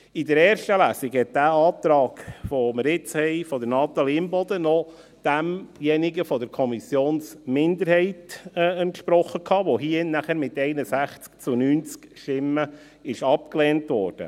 In der ersten Lesung entsprach der vorliegende Antrag von Natalie Imboden noch demjenigen der Kommissionsminderheit, der hier in diesem Saal dann mit 61 zu 90 Stimmen abgelehnt wurde.